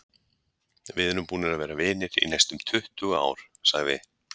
Við erum búnir að vera vinir í næstum tuttugu ár, sagði